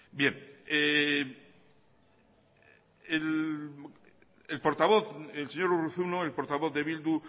el portavoz el señor urruzuno el portavoz de bildu